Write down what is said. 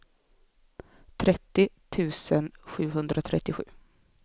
trettio tusen sjuhundratrettiosju